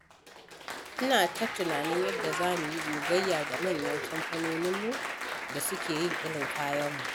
Ina ta tunanin yadda za mu yi gogayya da manyan kamfanonin da suke yin irin kayanmu.